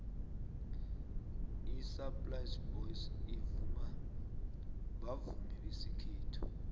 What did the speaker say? isaplasi boys bavumi besikhethu